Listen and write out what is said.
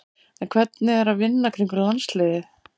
En hvernig er að vinna í kringum landsliðið?